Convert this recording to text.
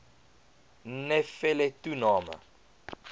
nne felle toename